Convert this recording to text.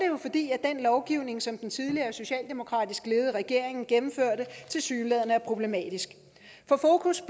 jo fordi den lovgivning som den tidligere socialdemokratisk ledede regering gennemførte tilsyneladende er problematisk for fokus